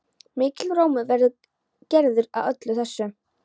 Mikill rómur var gerður að öllu þessu.